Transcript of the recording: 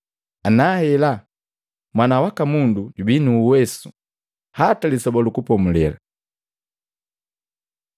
Nahela, Mwana waka Mundu jubii nu uwesu hata Lisoba lu Kupomulela.”